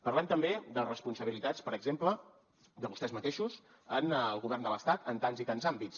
parlem també de responsabilitats per exemple de vostès mateixos en el govern de l’estat en tants i tants àmbits